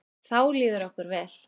Þá líður okkur vel.